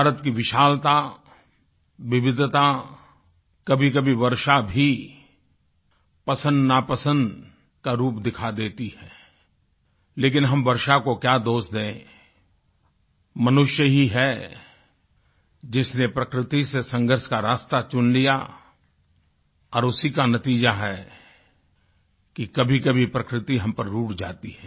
भारत की विशालता विविधता कभीकभी वर्षा भी पसंदनापसंद का रूप दिखा देती है लेकिन हम वर्षा को क्या दोष दें मनुष्य ही है जिसने प्रकृति से संघर्ष का रास्ता चुन लिया और उसी का नतीज़ा है कि कभीकभी प्रकृति हम पर रूठ जाती है